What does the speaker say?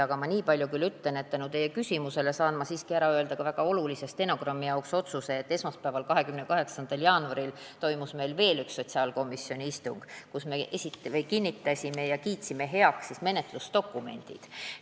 Aga nii palju küll ütlen, et tänu teie küsimusele saan ma siiski ära öelda ka stenogrammi mõttes väga olulise otsuse, et esmaspäeval, 28. jaanuaril toimus meil veel üks sotsiaalkomisjoni istung, kus me kinnitasime ja kiitsime heaks menetlusdokumendid.